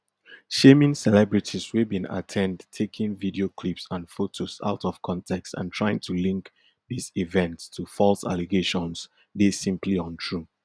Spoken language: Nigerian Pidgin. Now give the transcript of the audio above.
shaming celebrities wey bin at ten d taking video clips and photos out of context and trying to link dis events to false allegations dey simply untrue